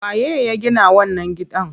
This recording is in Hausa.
Waye ya gina wannan gidan?